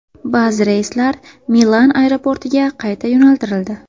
Ba’zi reyslar Milan aeroportiga qayta yo‘naltirildi.